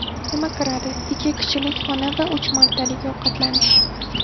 Nima kiradi: Ikki kishilik xona va uch martalik ovqatlanish.